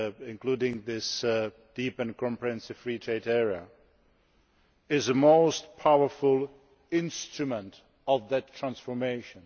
including this deep and comprehensive Free Trade Area, is a most powerful instrument of that transformation.